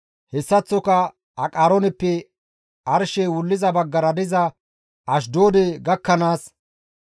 hessaththoka Aqarooneppe arshey wulliza baggara diza Ashdoode gakkanaas,